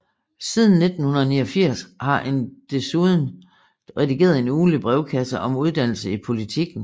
Siden 1989 har han desuden redigeret en ugentlig brevkasse om uddannelse i Politiken